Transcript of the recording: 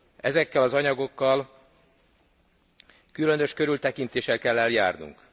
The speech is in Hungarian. Ezekkel az anyagokkal különös körültekintéssel kell eljárnunk.